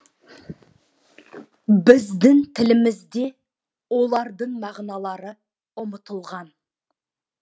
біздің тілімізде олардың мағыналары ұмытылған